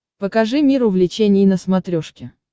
покажи мир увлечений на смотрешке